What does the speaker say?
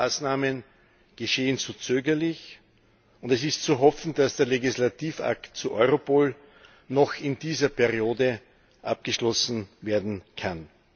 Viele Maßnahmen geschehen zu zögerlich, und es ist zu hoffen, dass der Legislativakt zu Europol noch in dieser Periode abgeschlossen werden kann.